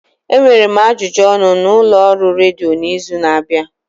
Enwere m ajụjụ ọnụ na ụlọọrụ redio n'izu na-abịa.